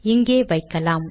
இங்கே வைக்கலாம்